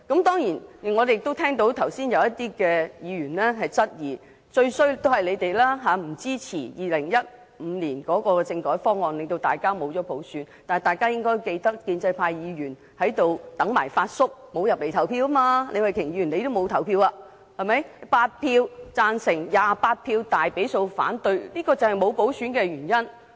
當然，剛才有些議員質疑，由於我們不支持2015年的政改方案，以致沒有普選，但大家應該記得，建制派議員在立法會"等埋發叔"，沒有進入會議廳投票，李慧琼議員也沒有投票，結果8票贊成 ，28 票大比數反對政改方案，這就是沒有普選的原因。